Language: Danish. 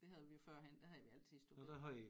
Det havde vi jo førhen der havde vi altid store bededag